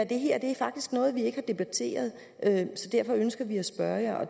det her er faktisk noget vi ikke har debatteret så derfor ønsker vi at spørge jer og